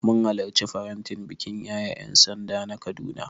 Mun halarci faretin bikin yaye ƴansanda a Kaduna.